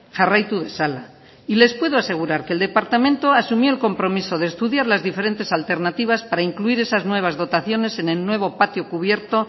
jarraitu dezala y les puedo asegurar que el departamento asumió el compromiso de estudiar las diferentes alternativas para incluir esas nueva dotaciones en el nuevo patio cubierto